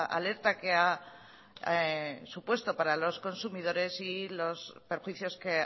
alerta que ha supuesto para los consumidores y los perjuicios que